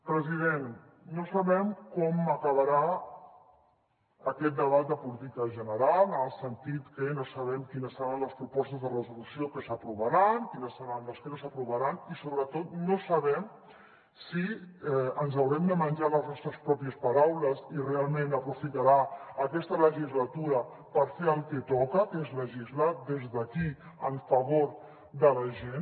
president no sabem com acabarà aquest debat de política general en el sentit que no sabem quines seran les propostes de resolució que s’aprovaran quines seran les que no s’aprovaran i sobretot no sabem si ens haurem de menjar les nostres pròpies paraules i realment aprofitarà aquesta legislatura per fer el que toca que és legislar des d’aquí en favor de la gent